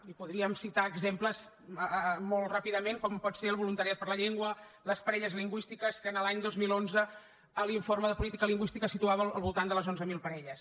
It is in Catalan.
i podríem citar exemples molt ràpidament com pot ser el voluntariat per la llengua les parelles lingüístiques que l’any dos mil onze l’informe de política lingüística situava al voltant de les onze mil parelles